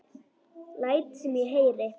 Læt sem ég heyri.